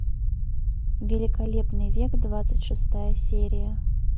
великолепный век двадцать шестая серия